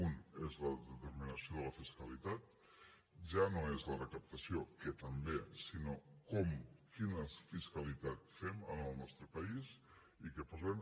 un és la determinació de la fiscalitat ja no és la recaptació que també sinó com quina fiscalitat fem en el nostre país i què posem